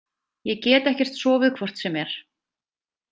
Ég get ekkert sofið hvort sem er.